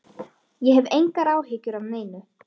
Ég hef engar áhyggjur af neinu.